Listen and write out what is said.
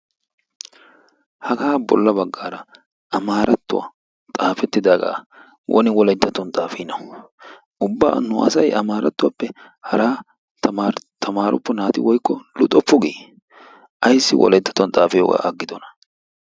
Hagaa bolla baggaara amaarattuwa xaafettidaagaa woni wolayttattuwan xaafiinawu ubba nu asayi amaarattoppe haraa tamaaroppo naati woykko luxoppo gii? Ayssi wolayttattuwan xaafiyogaa aggidonaa ?